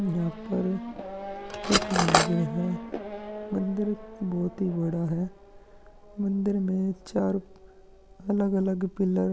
यहाँ पर एक मंदिर है मंदिर बहुत ही बड़ा है मंदिर में चार अलग अलग पिलर --